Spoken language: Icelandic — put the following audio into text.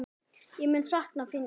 Ég mun sakna þín, Eyrún.